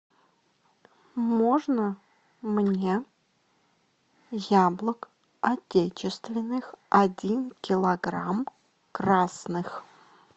можно мне яблок отечественных один килограмм красных